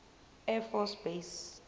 air force base